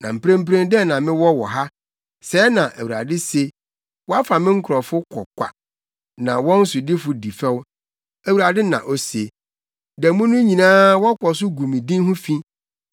“Na mprempren dɛn na mewɔ wɔ ha?” Sɛɛ na Awurade se. “Wɔafa me nkurɔfo kɔ kwa, na wɔn sodifo di fɛw,” Awurade na ose. “Da mu no nyinaa wɔkɔ so gu me din ho fi.